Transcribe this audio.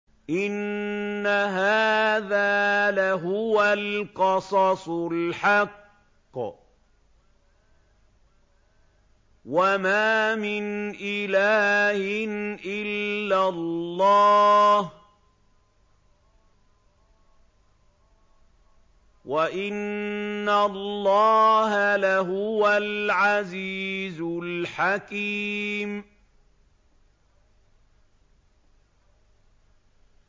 إِنَّ هَٰذَا لَهُوَ الْقَصَصُ الْحَقُّ ۚ وَمَا مِنْ إِلَٰهٍ إِلَّا اللَّهُ ۚ وَإِنَّ اللَّهَ لَهُوَ الْعَزِيزُ الْحَكِيمُ